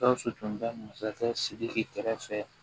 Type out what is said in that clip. Gawusu tun bɛ masakɛ sidiki kɛrɛfɛ